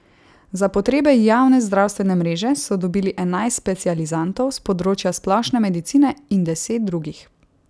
Za potrebe javne zdravstvene mreže so dobili enajst specializantov s področja splošne medicine in deset drugih.